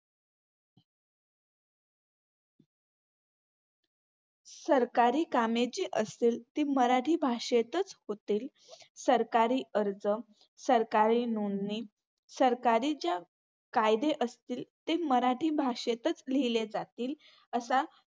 सरकारी कामे जी असतील, ती मराठी भाषेतच होतील. सरकारी अर्ज, सरकारी नोंदणी, सरकारीच्या कायदे असतील ते मराठी भाषेतच लिहिले जातील असा